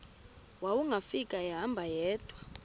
wawungafika ehamba yedwa